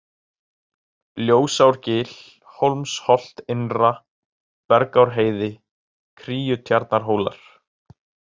Ljósárgil, Hólmsholt-Innra, Bergárheiði, Kríutjarnarhólar